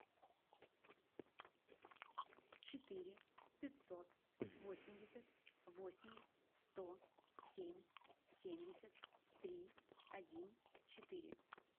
четыре пятьсот восемьдесят восемь сто семь семьдесят три один четыре